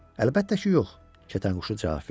Əlbəttə ki, yox, kətanquşu cavab verdi.